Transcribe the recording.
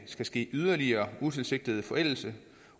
skal ske yderligere utilsigtet forældelse